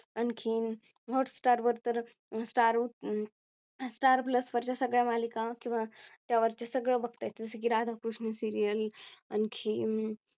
आणखीन Hot star वर तर Star star utsavStarplus वरच्या सगळ्या मालिका किंवा त्यावरची सगळं बघता येतं की राधाकृष्ण Serial आणखी अं